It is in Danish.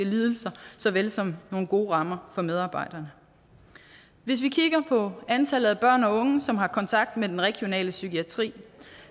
lidelser såvel som nogle gode rammer for medarbejderne hvis vi kigger på antallet af børn og unge som har kontakt med den regionale psykiatri